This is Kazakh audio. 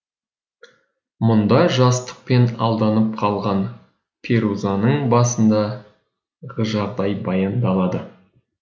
мұнда жастықпен алданып қалған перузаның басындағы жағдай баяндалады